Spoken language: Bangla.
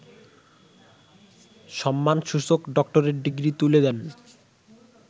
সম্মানসূচক ডক্টরেট ডিগ্রি তুলে দেন